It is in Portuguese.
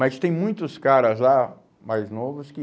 Mas tem muitos caras lá, mais novos, que...